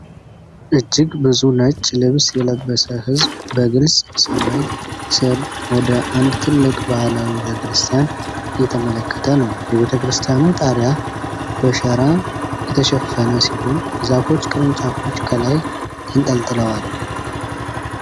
እጅግ ብዙ ነጭ ልብስ የለበሰ ሕዝብ በግልጽ ሰማይ ስር ወደ አንድ ትልቅ ባህላዊ ቤተክርስቲያን እየተመለከተ ነው። የቤተክርስቲያኑ ጣሪያ በሸራ የተሸፈነ ሲሆን፣ የዛፎች ቅርንጫፎች ከላይ ተንጠልጥለዋል።